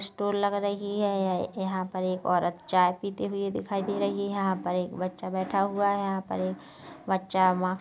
store लग रही हैं यह यहाँ पर एक औरत चाय पीते हुए दिखाई दे रही हैं यहाँ पर एक बच्चा बैठा हुआ हैं यहाँ पर एक बच्चा मास्क --